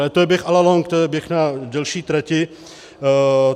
Ale to je běh a la longue, to je běh na delší trati.